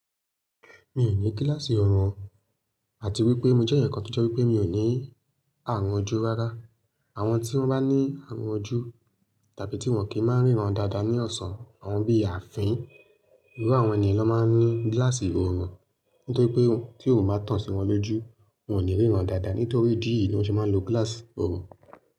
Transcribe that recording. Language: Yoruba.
Mi ní gíláàsì ọ̀rùn, àti wípé mi jẹ́ ẹnìkan tó je wipé mi ò ní àrùn ojú rárá. Àwọn tí wọ́n bá ní àrùn ojú tàbí tí wọ́n kì í máa ríran dáadáa ní ọ̀sán, àwọn bí ààfin, irú àwọn ẹni yìí ló máa ń ní gíláàsì ọ̀rùn. Nítorí pé tí oòrùn bá tàn sí wọn lójú, wọn ò ní ríran dáadáa. Nítorí ìdí yi ni wọ́n ṣe máa ń lo gíláàsì ọ̀rùn.